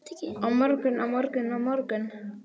Á morgun, á morgun, á morgun.